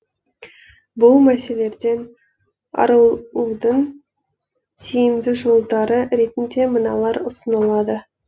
бұл мәселерден арылудың тиімді жолдары ретінде мыналар ұсынылады